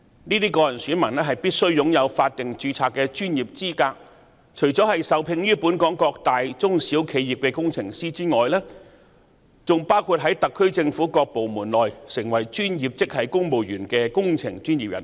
該等個人選民必須擁有法定註冊的專業資格，除了受聘於本港各大中小企業的工程師外，還包括在特區政府各部門內成為專業職系公務員的工程專業人士。